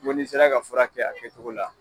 Ŋo n'i sera ka fura kɛ a kɛcogo la